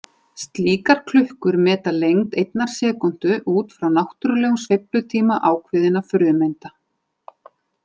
Slíkar klukkur meta lengd einnar sekúndu út frá náttúrulegum sveiflutíma ákveðinna frumeinda.